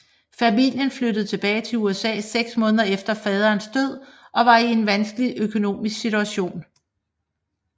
Familien flyttede tilbage til USA 6 måneder efter faderens død og var i en vanskelig økonomisk situation